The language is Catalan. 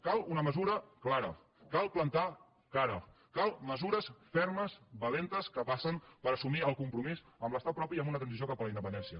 cal una mesura clara cal plantar cara calen mesures fermes valentes que passen per assumir el compromís amb l’estat propi i amb una transició cap a la independència